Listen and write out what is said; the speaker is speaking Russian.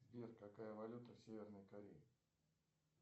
сбер какая валюта в северной корее